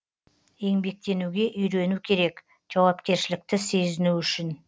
еңбектенуге үйрену керек жауапкершілікті сезіну үшін